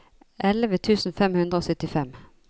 elleve tusen fem hundre og syttifem